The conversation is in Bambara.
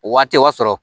O waati o y'a sɔrɔ